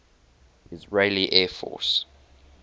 israeli air force